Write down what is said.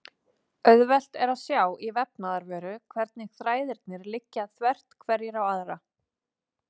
Auðvelt er að sjá í vefnaðarvöru hvernig þræðirnir liggja þvert hverjir á aðra.